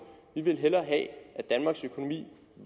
vi vil hellere have at danmarks økonomi